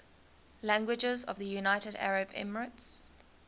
languages of the united arab emirates